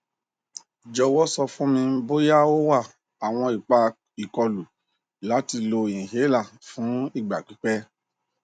jọwọ sọ fun mi boya o wa awọn ipa ikolu lati lo inhaler fun igba pipẹ